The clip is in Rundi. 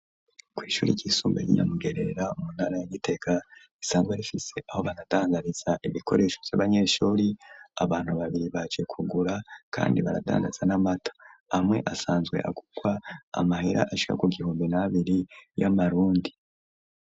Kw'ishure ry'isumbuye ry'inyamugerera muntara ya gitega risanzwe rifise aho baratangariza ibikoresho by'abanyeshuri abantu babiri bac kugura kandi baradangatza n'amata amwe asanzwe agugwa amahera ashika ku gihumbi nabiri y'amarundi.